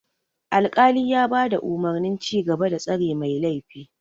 Alkali ya bada umurnin cigaba da tsare mai laifi.